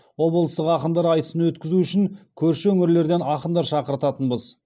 облыстық ақындар айтысын өткізу үшін көрші өңірлерден ақындар шақыртатынбыз